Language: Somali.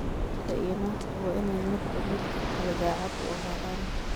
Ninka iyo naagtu waa inay midba midka kale daacad u ahaadaan.